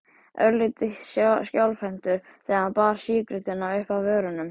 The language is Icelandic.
Örlítið skjálfhentur þegar hann bar sígarettuna uppað vörunum.